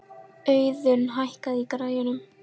Auðun, hækkaðu í græjunum.